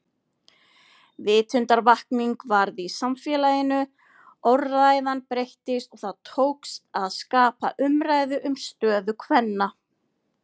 Vitundarvakning varð í samfélaginu, orðræðan breyttist og það tókst að skapa umræðu um stöðu kvenna.